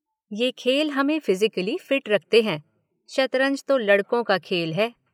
ये खेल हमें फिज़िकली फ़िट रखते हैं – शतरंज तो लड़कों का खेल है।